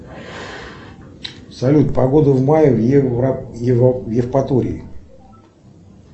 салют погода в мае в евпатории